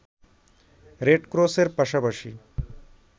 রেডক্রসের পাশাপাশি